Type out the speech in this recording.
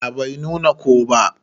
A'a Bai nuna ko ba.